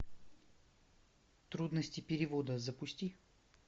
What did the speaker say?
трудности перевода запусти